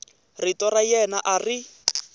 rito ra yena a ri